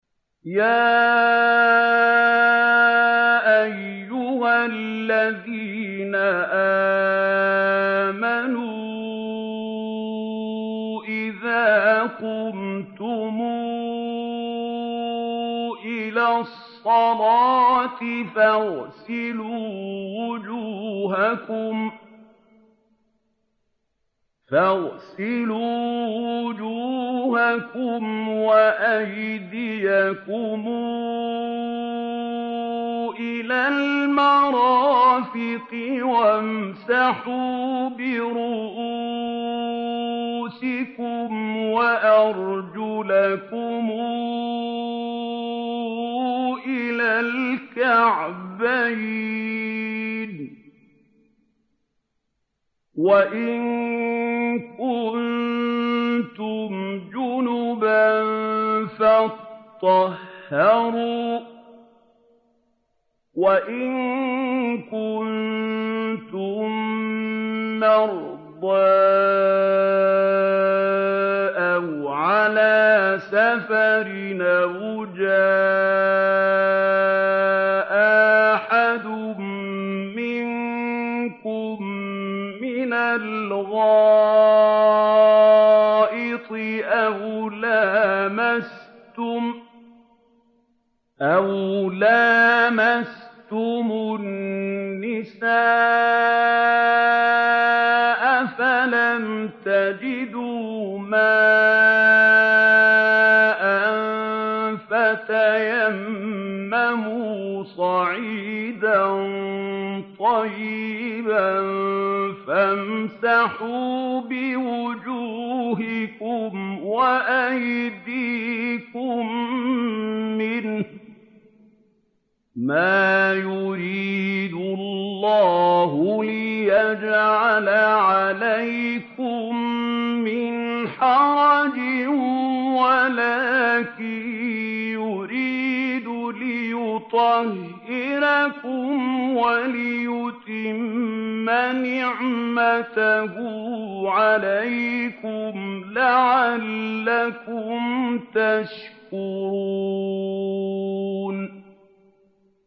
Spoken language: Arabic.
يَا أَيُّهَا الَّذِينَ آمَنُوا إِذَا قُمْتُمْ إِلَى الصَّلَاةِ فَاغْسِلُوا وُجُوهَكُمْ وَأَيْدِيَكُمْ إِلَى الْمَرَافِقِ وَامْسَحُوا بِرُءُوسِكُمْ وَأَرْجُلَكُمْ إِلَى الْكَعْبَيْنِ ۚ وَإِن كُنتُمْ جُنُبًا فَاطَّهَّرُوا ۚ وَإِن كُنتُم مَّرْضَىٰ أَوْ عَلَىٰ سَفَرٍ أَوْ جَاءَ أَحَدٌ مِّنكُم مِّنَ الْغَائِطِ أَوْ لَامَسْتُمُ النِّسَاءَ فَلَمْ تَجِدُوا مَاءً فَتَيَمَّمُوا صَعِيدًا طَيِّبًا فَامْسَحُوا بِوُجُوهِكُمْ وَأَيْدِيكُم مِّنْهُ ۚ مَا يُرِيدُ اللَّهُ لِيَجْعَلَ عَلَيْكُم مِّنْ حَرَجٍ وَلَٰكِن يُرِيدُ لِيُطَهِّرَكُمْ وَلِيُتِمَّ نِعْمَتَهُ عَلَيْكُمْ لَعَلَّكُمْ تَشْكُرُونَ